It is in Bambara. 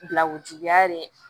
Bilakojuguya ye